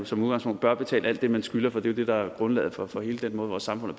som udgangspunkt bør betale alt det man skylder for det det der er grundlaget for for hele den måde vores samfund er